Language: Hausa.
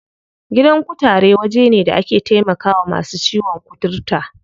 Gidan kutare waje ne da ake taimakawa masu ciwon kuturta.